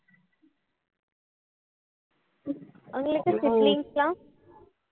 உங்களுக்கு siblings லாம்